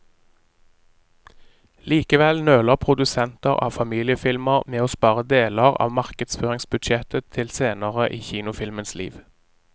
Likevel nøler produsenter av familiefilmer med å spare deler av markedsføringsbudsjettet til senere i kinofilmens liv.